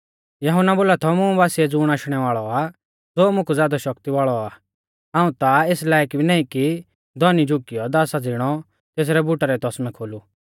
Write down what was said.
यहुन्ना बोला थौ मुं बासिऐ ज़ुण आशणै वाल़ौ आ ज़ो मुकु ज़ादौ शक्ति वाल़ौ आ हाऊं ता एस लायक भी नाईं कि धौनी झ़ुकियौ तेसरै बुटा रै तौसमै खोलु